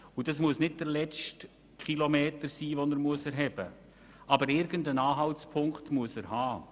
Er muss nicht den letzten Kilometer erheben, aber irgendeinen Anhaltspunkt muss er haben.